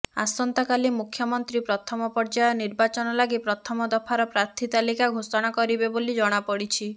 ଆସନ୍ତାକାଲି ମୁଖ୍ୟମନ୍ତ୍ରୀ ପ୍ରଥମ ପର୍ଯ୍ୟାୟ ନିର୍ବାଚନ ଲାଗି ପ୍ରଥମ ଦଫାର ପ୍ରାର୍ଥୀ ତାଲିକା ଘୋଷଣା କରିବେ ବୋଲି ଜଣାପଡିଛି